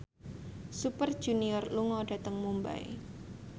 Super Junior lunga dhateng Mumbai